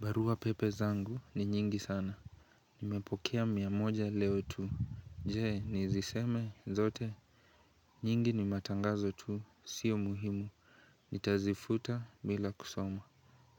Barua pepe zangu ni nyingi sana Nimepokea mia moja leo tu Je niziseme zote nyingi ni matangazo tu sio muhimu Nitazifuta bila kusoma